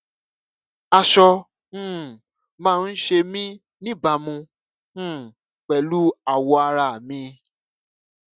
aṣọ um máa ń ṣe mí níbàámu um pèlú awọ ara mi